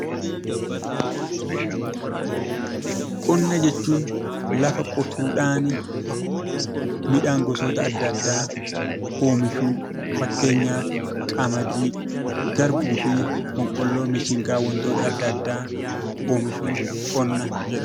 Qonna jechuun lafa qotuudhaan midhaan gosa adda addaa oomishuu fakkeenyaaf boqqoolloo, garbuu fi mishingaa wantoota adda addaa oomishuun qonna jedhama.